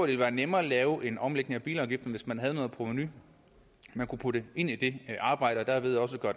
ville være nemmere at lave en omlægning af bilafgifterne hvis man havde noget provenu man kunne putte ind i det arbejde og derved også gøre